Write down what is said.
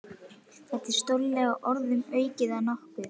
Það er stórlega orðum aukið að nokkuð.